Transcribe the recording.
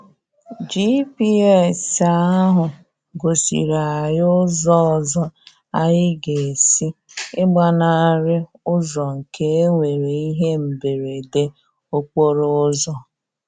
GPS ahụ gosiri anyị ụzọ ọzọ anyị ga-esi ịgbanarị ụzọ nke e e nwere ihe mberede okporo ụzọ.